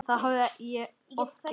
Það hafði ég oft gert.